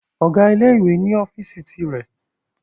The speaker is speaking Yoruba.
Ọ̀gá ilé ìwé ni ọ́fíìsì ti rẹ̀